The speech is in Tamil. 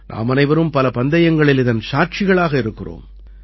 நாமனைவரும் பல பந்தயங்களில் இதன் சாட்சிகளாக இருக்கின்றோம்